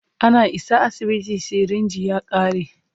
Ana isa asibiti, sirinji ya ƙare.